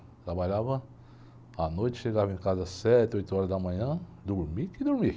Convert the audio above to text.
Trabalhava à noite, chegava em casa às sete, oito horas da manhã, dormia que dormia.